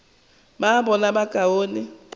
ba bona bokaone e le